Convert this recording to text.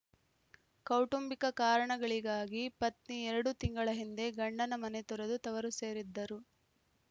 ಕೌಟುಂಬಿಕ ಕಾರಣಗಳಿಗಾಗಿ ಪತ್ನಿ ಎರಡು ತಿಂಗಳ ಹಿಂದೆ ಗಂಡನ ಮನೆ ತೊರೆದು ತವರು ಸೇರಿದ್ದರು